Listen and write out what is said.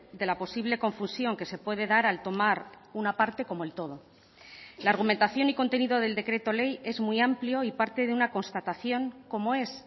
de la posible confusión que se puede dar al tomar una parte como el todo la argumentación y contenido del decreto ley es muy amplio y parte de una constatación como es